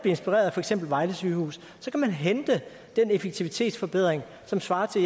inspireret af for eksempel vejle sygehus så kan man hente den effektivitetsforbedring som svarer til